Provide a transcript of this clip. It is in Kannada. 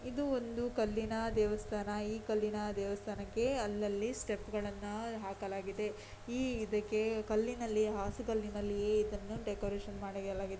ಇದು ಒಂದು ಕಲ್ಲಿನ ದೇವಸ್ಥಾನ ಈ ಕಲ್ಲಿನ ದೇವಸ್ಥಾನಕೆ ಅಲ್ಲಲಿ ಸ್ಟೆಪ್ಗಳನ್ನು ಹಾಕಲಾಗಿದೆ ಈ ಇದಕ್ಕೆ ಕಲ್ಲಿನಲ್ಲಿ ಹಾಸುಗಲ್ಲಿನಲ್ಲಿಯೇ ಇದನ್ನು ಡೆಕೋರೇಷನ್ ಮಾಡಿಡಲಾಗಿದೆ.